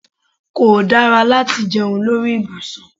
Kó dára láti jẹun lórí ibùsùn